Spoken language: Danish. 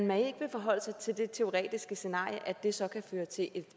man ikke vil forholde sig til det teoretiske scenarie at det så kan føre til